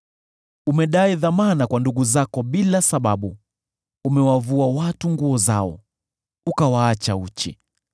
Umedai dhamana kwa ndugu zako bila sababu; umewavua watu nguo zao, ukawaacha uchi.